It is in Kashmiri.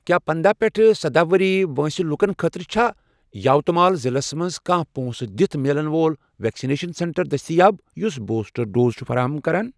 کیٛاہ پنٛداہ پیٹھ سداہ ؤری وٲنٛسہِ لوکن خٲطرٕ چھا یاوتمال ضلعس مَنٛز کانٛہہ پۄنٛسہٕ دِتھ میلن وول ویکسِنیشن سینٹر دٔستِیاب یُس بوٗسٹر ڈوز چھ فراہم کران؟